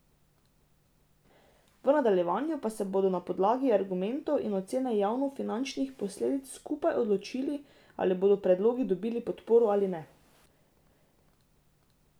V nadaljevanju pa se bodo na podlagi argumentov in ocene javnofinančnih posledic skupaj odločili, ali bodo predlogi dobili podporo ali ne.